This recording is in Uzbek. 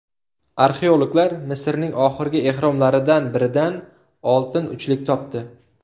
Arxeologlar Misrning oxirgi ehromlaridan biridan oltin uchlik topdi .